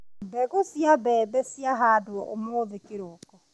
Mbegũ cia mbembe ciahandwo ũmũthĩ kĩroko.